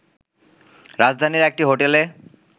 রাজধানীর একটি হোটেলে